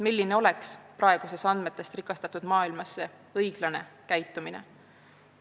Milline on praeguses andmetest rikastatud maailmas see õiglane käitumine?